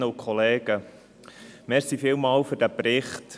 Vielen Dank für diesen Bericht.